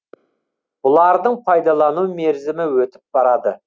бұлардың пайдалану мерзімі өтіп барады